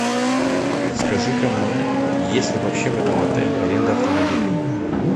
подскажи ка мне есть ли вообще в этом отеле аренда автомобилей